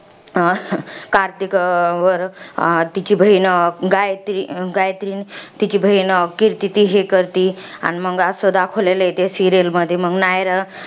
अं कार्तिक वर अं तिची बहिण, गायत्री गायत्री, तिची बहिण कीर्ती, ती हे करती. मंग, असं दाखवलेलं आहे त्या serial मधी. मग नायरा